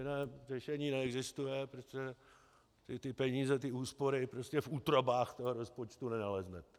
Jiné řešení neexistuje, protože ty peníze, ty úspory prostě v útrobách toho rozpočtu nenaleznete.